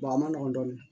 a ma nɔgɔn dɔɔnin